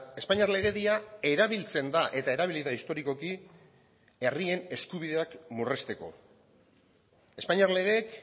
espainiar legedia erabiltzen da eta erabili da historikoki herrien eskubideak murrizteko espainiar legeek